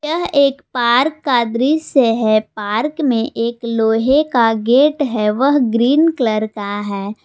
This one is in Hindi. यह एक पार्क का दृश्य है पार्क में एक लोहे का गेट है वह ग्रीन कलर का है।